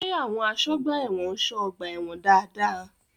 Ṣé àwọn àsọ́gbà ẹ̀wọ̀n ń ṣọ́ ọgbà-ẹ̀wọ̀n dáadáa?